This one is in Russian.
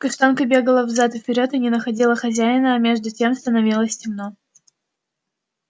каштанка бегала взад и вперёд и не находила хозяина а между тем становилось темно